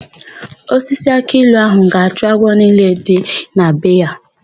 Osisi akị ilu áhụ̀ ga-achụ agwọ niile dị na be ya.